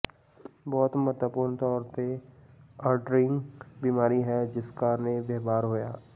ਬਹੁਤ ਮਹੱਤਵਪੂਰਨ ਤੌਰ ਤੇ ਅੰਡਰਲਾਈੰਗ ਬਿਮਾਰੀ ਹੈ ਜਿਸ ਕਾਰਨ ਇਹ ਵਿਵਹਾਰ ਹੋਇਆ